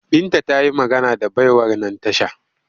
Binta ta yi magana da baiwar nan tasha